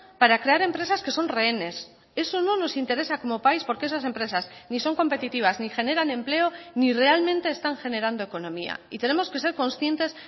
para crear empresas que son rehenes eso no nos interesa como país porque esas empresas ni son competitivas ni generan empleo ni realmente están generando economía y tenemos que ser conscientes